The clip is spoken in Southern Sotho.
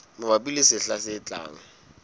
mabapi le sehla se tlang